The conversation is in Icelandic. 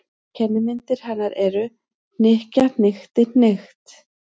Kennimyndir hennar eru: hnykkja- hnykkti- hnykkt.